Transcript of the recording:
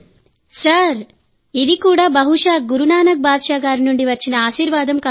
సార్ఇది కూడా బహుశా గురునానక్ బాద్షా గారి నుండి వచ్చిన ఆశీర్వాదం కావచ్చు